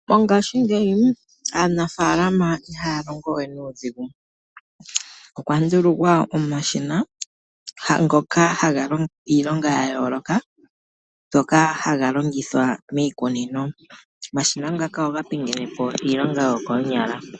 Mongaashingeyi aanafaalama ihaya longo we nuudhigu, okwa ndulukwa omashina ngoka haga longo iilonga ya yooloka, ngoka haga longithwa miikunino. Omashina ngaka oga pingene po iilonga yokoonyala.